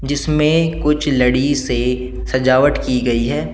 जिसमें कुछ लड़ी से सजावट की गई है।